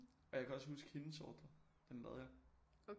Og jeg kan også huske hendes ordre den lavede jeg